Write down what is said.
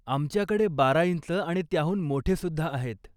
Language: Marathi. आमच्याकडे बारा इंच आणि त्याहून मोठे सुद्धा आहेत.